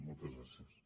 moltes gràcies